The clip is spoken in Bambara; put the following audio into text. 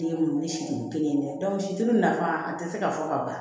Den wele siden kelen tɛ situru nafa a tɛ se ka fɔ ka ban